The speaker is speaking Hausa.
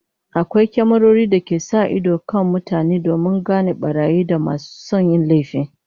Akwai kyamarori da ke sa ido kan mutane domin gano barayi da masu son yin laifi